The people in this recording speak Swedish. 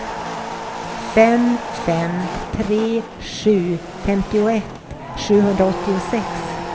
fem fem tre sju femtioett sjuhundraåttiosex